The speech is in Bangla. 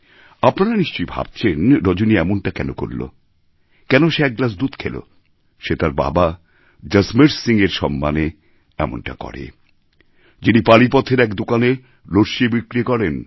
আপনারা নিশ্চয়ই ভাবছেন রজনী এমনটা কেন করল কেন সে এক গ্লাস দুধ খেল সে তার বাবা জসমের সিংএর সম্মানে এমনটা করে যিনি পানিপথের এক দোকানে লস্যি বিক্রি করেন